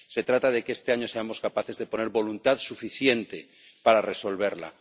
Se trata de que este año seamos capaces de poner voluntad suficiente para resolverla.